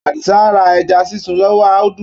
Àdìsá ra ẹja sísun lọ́wọ́ Audu.